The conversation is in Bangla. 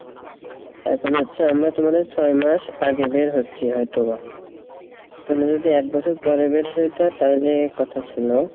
এখন হচ্ছে আমরা তোমাদের ছয় মাস আগে বের হচ্ছি হয়তো বা তুমি যদি এক বছর পরে বের হইতা তাহলে কথা সিলো,